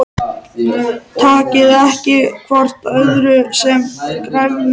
Takið ekki hvort öðru sem gefnu